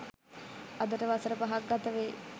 අදට වසර පහක් ගත වෙයි.